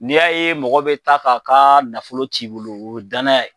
N'i y'a ye mɔgɔ bi taa k'a ka nafolo ti bolo, o ye danaya ye.